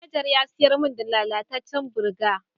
Manajar ya sayar mun da lallacecen burger.